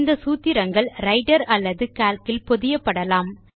இந்த் சூத்திரங்கள் ரைட்டர் அல்லது கால்க் இல் பொதியப்படலாம்